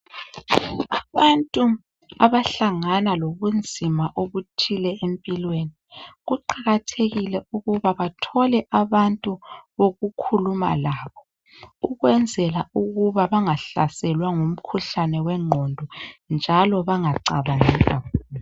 abantu abahlangana lobunzima obzuthile empilweni kuqakathekile ukuba bathole abantu bokukhuluma labo ukwenzela ukuba banga hlaselwa ngumkhuhlane wenqondo njalo bangacabangi kakhulu